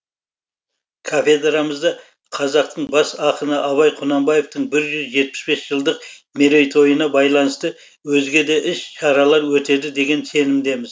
кафедрамызда қазақтың бас ақыны абай құнанбаевтың бір жүз жетпіс бес жылдық мерейтойына байланысты өзге де іс шаралар өтеді деген сенімдеміз